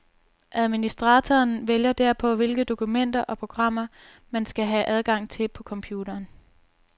Administratoren vælger derpå, hvilke dokumenter og programmer man skal have adgang til på computeren.